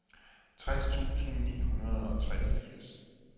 tres tusind ni hundrede og treogfirs